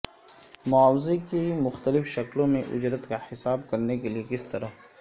معاوضے کی مختلف شکلوں میں اجرت کا حساب کرنے کے لئے کس طرح